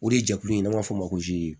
O de ye jɛkulu in n'an b'a fɔ o ma ko